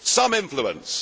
Some influence!